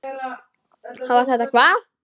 Hafa þetta hvað?